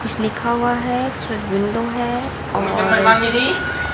कुछ लिखा हुआ है उसमें विंडो है और--